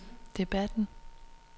debatten